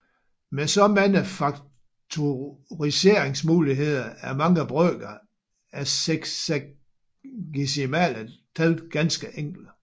Med så mange faktoriseringsmuligheder er mange brøker af sexagesimale tal ganske enkle